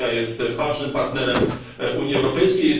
Turcja jest ważnym partnerem Unii Europejskiej.